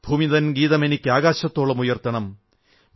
ഭൂമിതൻ ഗീതമെനിക്കാകാശത്തോളമുയർത്തണം